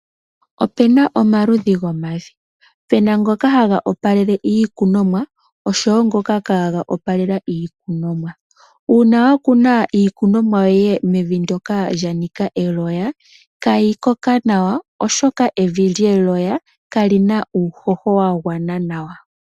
Opena omaludhi gomavi, pe na ngoka haga opalele iikunomwa osho woo ngoka kaa ga opalela iikunomwa. uuna wa kuna iikunomwa yoye mevi ndoka lya nika eloya ita yi koko nawa oshoka evi lyeloya ka li na uuhoho wa gwana nawa.